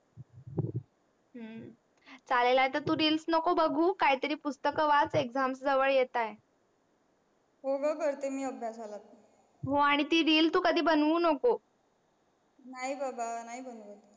हम्म चालेल आता तू reels नको बगु काही तरी पुस्तक वाच exam जवळ येत आहे हो ग करते मी अभ्यासाला सुरु हो आणि ते reel तू कधी बनू नको नाही बाबा नाही बनवत.